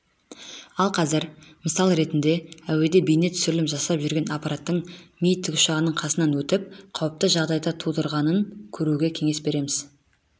ал қазір мысал ретінде әуеде бейне түсірілім жасап жүрген аппараттың ми тікұшағының қасынан өтіп қауіпті жағдайды тудырғанын көруге кеңес береміз